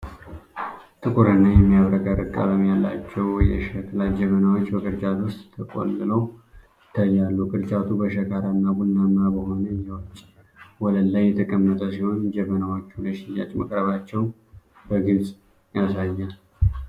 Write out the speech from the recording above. ጥቁርና የሚያብረቀርቅ ቀለም ያላቸው የሸክላ ጀበናዎች በቅርጫት ውስጥ ተቆልለው ይታያሉ። ቅርጫቱ በሸካራና ቡናማ በሆነ የውጪ ወለል ላይ የተቀመጠ ሲሆን፣ ጀበናዎቹ ለሽያጭ መቅረባቸውን በግልጽ ያሳያል።